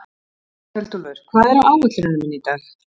Kveldúlfur, hvað er á áætluninni minni í dag?